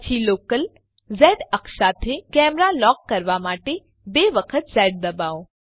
પછી લોકલ ઝ અક્ષ સાથે કેમેરા લોક કરવા માટે બે વખત ઝ ડબાઓ